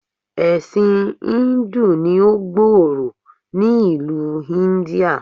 Ẹ̀sìn íńdù ní ó gbòòrò ni ìlú Íńdíà.